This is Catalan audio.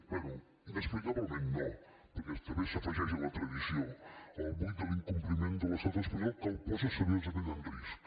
bé inexplicablement no perquè també s’afegeix a la tradició el buit de l’incompliment de l’estat espanyol que el posa seriosament en risc